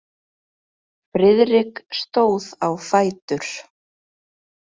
Friðrik stóð á fætur.